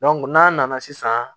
n'an nana sisan